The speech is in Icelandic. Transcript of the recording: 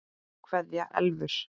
Kveðja Elfur.